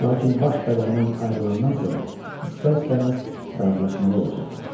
Lakin baş bədəndən ayrılandan sonra istər-istəməz razılaşmalı olacaqlar.